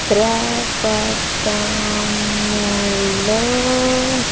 త్రపటములో --